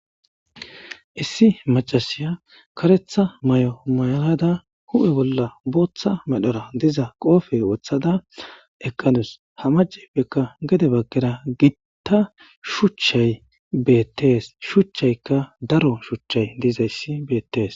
Issi macashiya kareththa may'o mayada huphphe bolla booththa medhora diz qoope woththada eqqadus ha mcayippekka gedde baggara giitta shuuchchay beettes shuuchchaykka daro shuuchchay dizayssi beettes